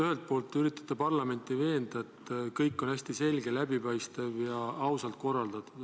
Ühelt poolt te üritate parlamenti veenda, et kõik on hästi selge, läbipaistev ja ausalt korraldatud.